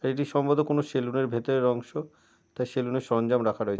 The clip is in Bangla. এটি সম্ববত কোনো সালুন -এর ভিতরের অংশ। তাই সালুন এর সরঞ্জাম রাখা রয়েছে।